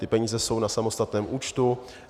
Ty peníze jsou na samostatném účtu.